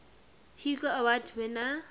hugo award winner